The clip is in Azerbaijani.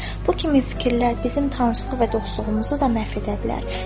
Bu kimi fikirlər bizim tanışlıq və dostluğumuzu da məhv edə bilər.